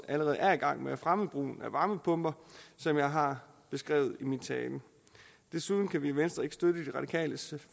allerede er i gang med at fremme brugen af varmepumper som jeg har beskrevet i min tale desuden kan vi i venstre ikke støtte de radikales